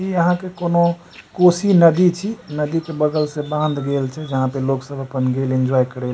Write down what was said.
ई यहाँ के कौनो कोसी नदी छे नदी के बगल से बाँध गेल छे जहाँ पे लोग सब अपन गेल एन्जॉय करेल --